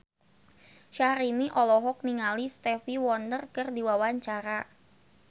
Syahrini olohok ningali Stevie Wonder keur diwawancara